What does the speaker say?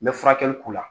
N bɛ furakɛli k'u la